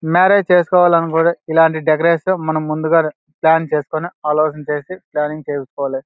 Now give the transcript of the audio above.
Marriage చేసుకోవాలనబడే ఇలాంటి decoration మనం ముందుగానే ప్లాన్ చేసుకుని ప్లానింగ్ చేసుకోవాలి.